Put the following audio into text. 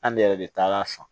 An ne yɛrɛ de taara a san